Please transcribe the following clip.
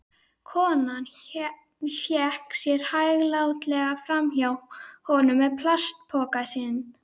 Konan vék sér hæglátlega framhjá honum með plastpokann sinn.